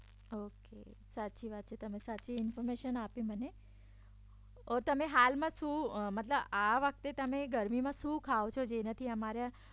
okay સાચી વાત છે તમે સાચી ઇન્ફોર્મેશન આપી મને તમે હાલમાં મતલબ આ વખતે તમે ગરમીમાં શું ખાવ છો જેનાથી અમારે